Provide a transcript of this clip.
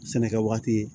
Sɛnɛkɛ waati